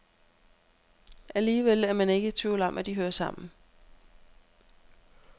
Alligevel er man ikke i tvivl om, at de hører sammen.